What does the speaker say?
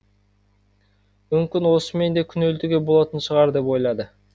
мүмкін осымен де күнелтуге болатын шығар деп ойлады